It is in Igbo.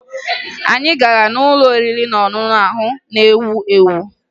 Anyị gara n'ụlọ oriri na ọṅụṅụ ahụ na-ewu ewu